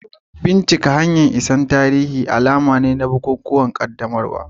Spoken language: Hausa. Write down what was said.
Bincika hanyoyin isar da tarihi da ke da alaƙa da bukukuwan qaddamarwa.